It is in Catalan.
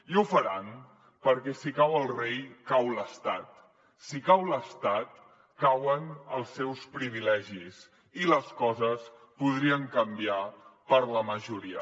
i ho faran perquè si cau el rei cau l’estat si cau l’estat cauen els seus privilegis i les coses podrien canviar per a la majoria